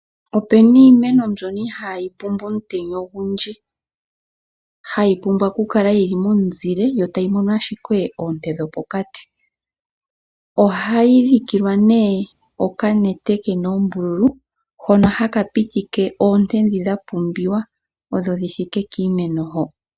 Opu na iimeno mbyono ihayi pumbwa omutenya ogundji, hayi pumbwa okukala yi li momuzile yo tayi imonene ashike oonte dhopokati. Ohayi dhikilwa nee okanete ke na oombululu hono haka pitike oonte ndhi dha pumbiwa odho dhi thike kiimeno ho.